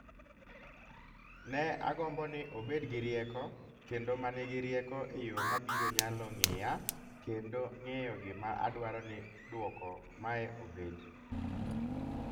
Ne agombo ni obed gi rieko kendo ma nigi rieko e yo ma biro nyalo ng�eya kendo ng�eyo gima adwaro ni duoko mae obed .